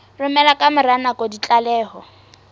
romela ka mora nako ditlaleho